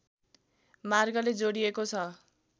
मार्गले जोडिएको छ